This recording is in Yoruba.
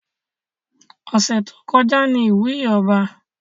Ọ̀sẹ̀ tó kọjá ní ìwúyè ọba